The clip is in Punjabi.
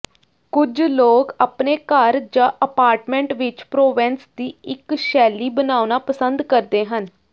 ਕੁਝ ਲੋਕ ਆਪਣੇ ਘਰ ਜਾਂ ਅਪਾਰਟਮੈਂਟ ਵਿੱਚ ਪ੍ਰੋਵੈਂਸ ਦੀ ਇੱਕ ਸ਼ੈਲੀ ਬਣਾਉਣਾ ਪਸੰਦ ਕਰਦੇ ਹਨ